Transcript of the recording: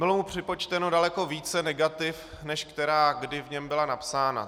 Bylo mu připočteno daleko více negativ, než která kdy v něm byla napsána.